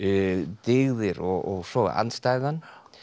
dyggðir og svo andstæðan